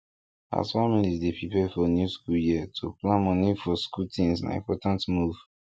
as families dey prepare for new school year to plan money for school things na important move